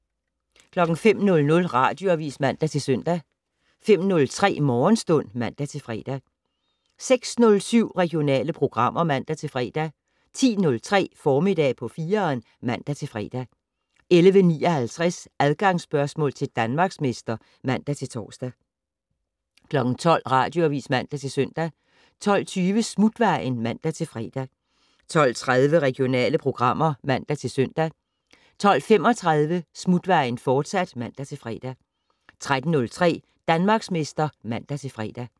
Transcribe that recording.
05:00: Radioavis (man-søn) 05:03: Morgenstund (man-fre) 06:07: Regionale programmer (man-fre) 10:03: Formiddag på 4'eren (man-fre) 11:59: Adgangsspørgsmål til Danmarksmester (man-tor) 12:00: Radioavis (man-søn) 12:20: Smutvejen (man-fre) 12:30: Regionale programmer (man-søn) 12:35: Smutvejen, fortsat (man-fre) 13:03: Danmarksmester (man-fre)